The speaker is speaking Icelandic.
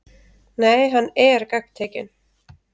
Nei, hann ER gagntekinn.